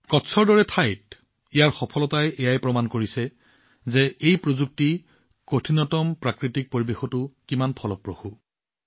কচ্চৰ দৰে ঠাইত ইয়াৰ সফলতাই দেখুৱাইছে যে এই প্ৰযুক্তি কঠিনতম প্ৰাকৃতিক পৰিৱেশতো কিমান ফলপ্ৰসূ